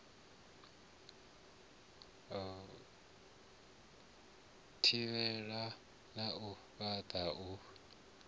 thivhela na u fhaṱa u